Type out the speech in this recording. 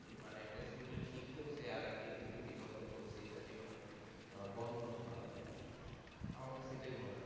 মানে একটা student শিখতেও সে আর একদিক থেকে বিতর্কক চলছে এইটা যেন আহ বন্ধ হয় আর কি আমার তো সেটাই মনে হলো